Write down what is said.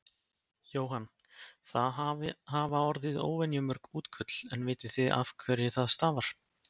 Jóhann: Það hafa orði óvenju mörg útköll en vitið þið af hverju það stafar?